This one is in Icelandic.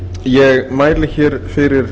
ég mæli hér fyrir